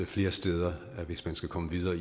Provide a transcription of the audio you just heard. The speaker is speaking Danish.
flere steder hvis man skal komme videre